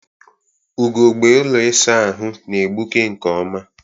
Ugogbe ụlọ ịsa ahụ na-egbuke nke ọma.